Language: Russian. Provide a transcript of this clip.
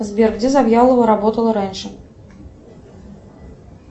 сбер где завьялова работала раньше